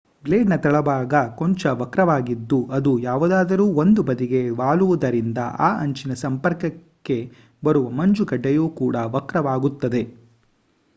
blade ನ ‌ ತಳಭಾಗ ಕೊಂಚ ವಕ್ರವಾಗಿದ್ದು ಅದು ಯಾವುದಾದರೂ ಒಂದು ಬದಿಗೆ ವಾಲುವುದರಿಂದ ಆ ಅಂಚಿನ ಸಂಪರ್ಕಕ್ಕೆ ಬರುವ ಮಂಜುಗಡ್ಡೆಯು ಕೂಡಾ ವಕ್ರವಾಗುತ್ತದೆ